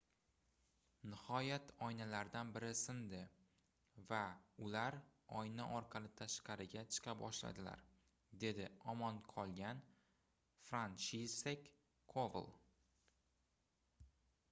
nihoyat oynalardan biri sindi va ular oyna orqali tashqariga chiqa boshladilar dedi omon qolgan fransishek koval